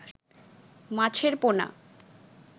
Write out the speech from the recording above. মাছের পোনা